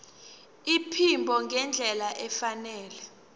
iphimbo ngendlela efanele